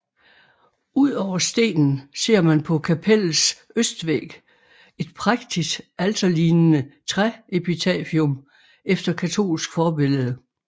Udover stenen ser man på kapellets østvæg et prægtigt alterlignende træepitafium efter katolsk forbillede